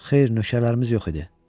Xeyr, nöşəələrimiz yox idi.